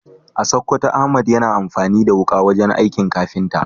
A Sokoto, Ahmad yana amfani da wuka wajen aikin kafinta.